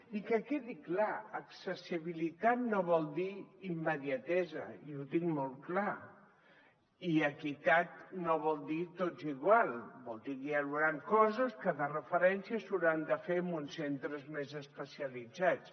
i que quedi clar accessibilitat no vol dir immediatesa i ho tinc molt clar i equitat no vol dir tots igual vol dir que hi hauran coses que de referència s’hauran de fer en uns centres més especialitzats